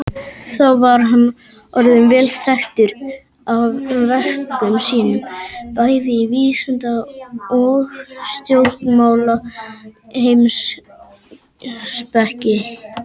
Þá var hann orðinn vel þekktur af verkum sínum, bæði í vísinda- og stjórnmálaheimspeki.